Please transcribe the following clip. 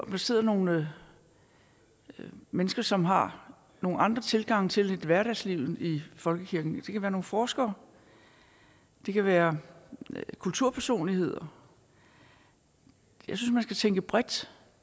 kunne sidde nogle mennesker som har nogle andre tilgange til hverdagslivet i folkekirken det kan være nogle forskere det kan være kulturpersonligheder jeg synes tænke bredt